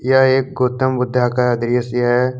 यह एक गौतम बुध्दा का दृश्य है।